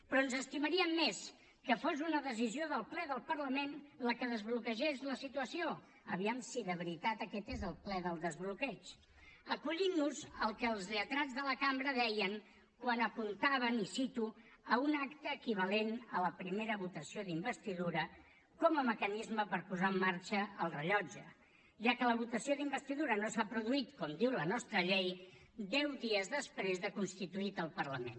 però ens estimaríem més que fos una decisió del ple del parlament la que desbloquegés la situació aviam si de veritat aquest és el ple del desbloqueig acollint nos al que els lletrats de la cambra deien quan apuntaven i ho cito a un acte equivalent a la primera votació d’investidura com a mecanisme per posar en marxa el rellotge ja que la votació d’investidura no s’ha produït com diu la nostra llei deu dies després de constituït el parlament